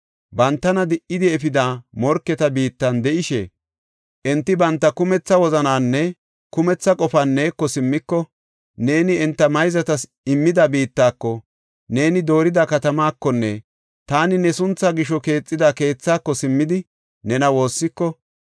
bantana di7idi efida morketa biittan de7ishe enti banta kumetha wozanaaninne kumetha qofan neeko simmiko, neeni enta mayzatas immida biittako, neeni doorida katamaakonne taani ne sunthaa gisho keexida keethako simmidi nena woossiko,